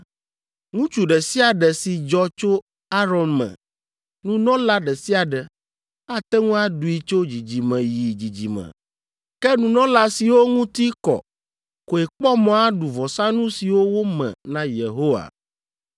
Ŋutsu ɖe sia ɖe si dzɔ tso Aron me, nunɔla ɖe sia ɖe, ate ŋu aɖui tso dzidzime yi dzidzime. Ke nunɔla siwo ŋuti kɔ koe kpɔ mɔ aɖu vɔsanu siwo wome na Yehowa.’ ”